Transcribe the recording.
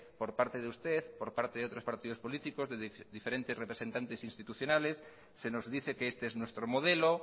por parte de usted por parte de otros partidos políticos de diferentes representantes institucionales se nos dice que este es nuestro modelo